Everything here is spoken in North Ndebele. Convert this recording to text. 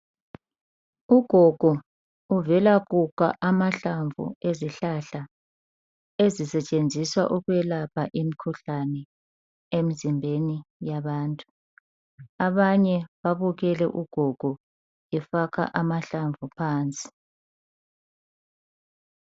Ugogo uvela kukha amahlamvu ezihlahla ezisetshenziswa ukwelapha imikhuhlane emzimbeni yabantu abanye babukele ugogo efaka amahlamvu phansi